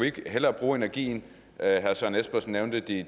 ikke hellere bruge energien herre søren espersen nævnte de